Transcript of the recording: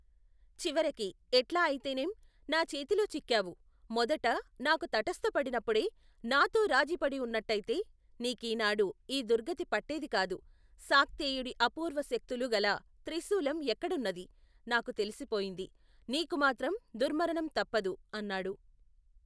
చివరికి, ఎట్లా అయితేనేం, నా చేతిలో చిక్కావు, మొదట, నాకు తటస్థపడినప్పుడే, నాతో రాజీపడివున్నట్టయితే, నీకీనాడు, యీ దుర్గతి పట్టేదికాదు, శాక్తేయుడి అప్పూర్వశక్తులు గల, త్రిశూలం ఎక్కడున్నదీ, నాకు తెలిసిపోయింది, నీకుమాత్రం, దుర్మరణం తప్పదు, అన్నాడు.